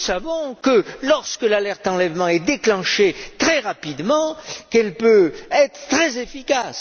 Nous savons que, lorsque l'alerte enlèvement est déclenchée très rapidement, elle peut être très efficace.